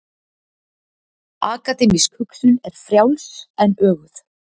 Akademísk hugsun er frjáls en öguð.